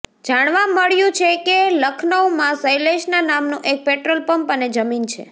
જાણવા મળ્યુ છે કે લખનૌમાં શૈલેષના નામનુ એક પેટ્રોલ પંપ અને જમીન છે